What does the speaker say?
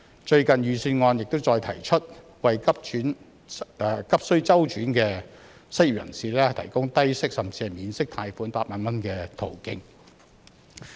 最近的財政預算案亦再提出為急需周轉的失業人士，提供低息甚至免息貸款8萬元的途徑。